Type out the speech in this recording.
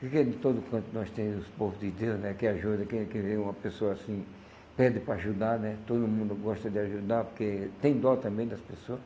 Porque de todo canto nós temos o povo de Deus, né, que ajuda, que quem vê uma pessoa assim, pede para ajudar, né, todo mundo gosta de ajudar, porque tem dó também das pessoa.